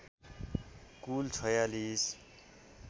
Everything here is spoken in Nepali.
कुल ४६